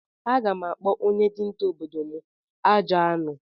Aga m akpọ onye dinta obodo m "Ajọ anụ"